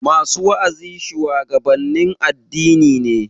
Masu wa'azi shuwagabannin addini ne